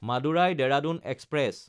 Madurai-Dehradun express